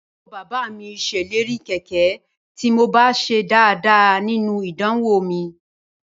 Àbúrò bàbá mi ṣèlérí kẹ̀kẹ́ tí mo bá ṣe dáadáa nínú idanwò mi